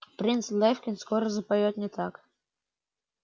принц лефкин скоро запоёт не так